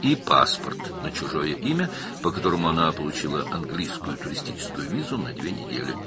və onun iki həftəlik ingilis turist vizası aldığı başqa adla pasportu.